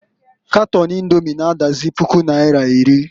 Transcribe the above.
Katon Indomi na -adazi puku naira iri.